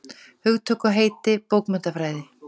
Hugtök og heiti bókmenntafræði.